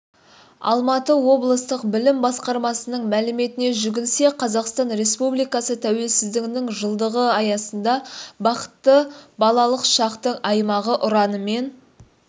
алматы облыстық білім басқармасының мәліметіне жүгінсек қазақстан республикасы тәуелсіздігінің жылдығы аясында бақытты балалық шақтың аймағы ұранымен